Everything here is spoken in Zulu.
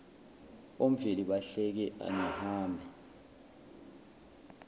omveli bahleke angihambe